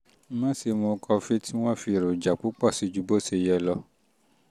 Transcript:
má ṣe mu kọfí tí um wọ́n fi èròjà púpọ̀ sí ju bó um ṣe yẹ lọ